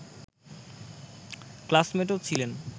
ক্লাসমেটও ছিলেন